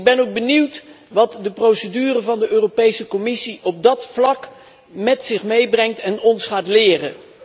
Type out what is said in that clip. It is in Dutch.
Ik ben ook benieuwd wat de procedure van de Europese Commissie op dat vlak met zich meebrengt en ons gaat leren.